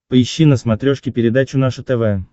поищи на смотрешке передачу наше тв